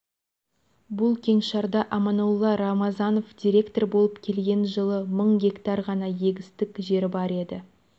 бұл кеңшарда аманолла рамазанов директор болып келген жылы мың гектар ғана егістік жері бар еді